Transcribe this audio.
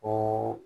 O